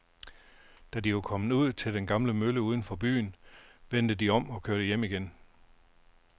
Da de var kommet ud til den gamle mølle uden for byen, vendte de om og kørte hjem igen.